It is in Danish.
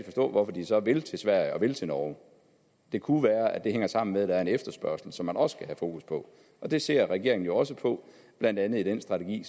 forstå hvorfor de så vil til sverige og vil til norge det kunne være at det hænger sammen med at der er en efterspørgsel som man også have fokus på det ser regeringen jo også på blandt andet i den strategi